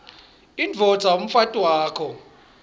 indvodza umfati wakho